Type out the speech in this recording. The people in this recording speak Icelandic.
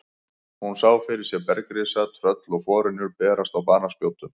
Hún sá fyrir sér bergrisa, tröll og forynjur berast á banaspjótum.